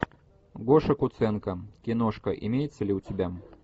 гоша куценко киношка имеется ли у тебя